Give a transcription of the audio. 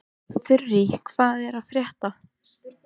Þurí, hvað er að frétta?